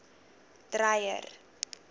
dreyer